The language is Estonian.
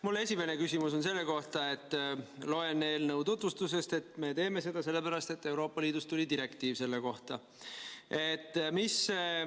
Mu esimene küsimus on selle kohta, et loen eelnõu tutvustusest, et me teeme seda sellepärast, et Euroopa Liidus tuli selle kohta direktiiv.